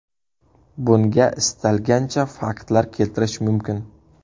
Bunga istalgancha faktlar keltirish mumkin.